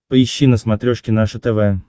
поищи на смотрешке наше тв